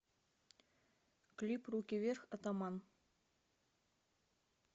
клип руки вверх атаман